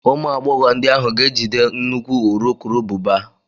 Ụmụ agbọghọ ndị ahụ ga-ejide nnukwu urukurubụba